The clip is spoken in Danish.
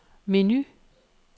menu